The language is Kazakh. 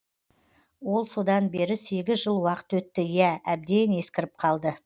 ол содан бері сегіз жыл уақыт өтті иә әбден ескіріп қалды